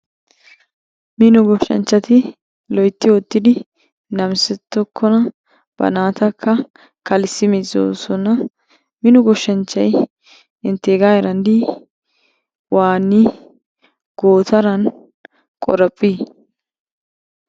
Mino Goshanchchati loytti ootidi namisetokona. Ba naatakka kalissi mizoozosona. Mino goshanchchay inteega heeran dii? waanii gootaran qoraphii?